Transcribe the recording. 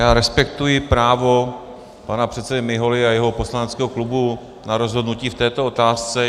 Já respektuji právo pana předsedy Miholy a jeho poslaneckého klubu na rozhodnutí v této otázce.